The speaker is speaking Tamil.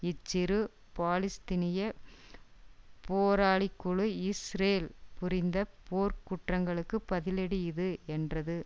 இச்சிறு பாலஸ்தீனிய போராளிக்குழு இஸ்ரேல் புரிந்த போர்க் குற்றங்களுக்கு பதிலடி இது என்றது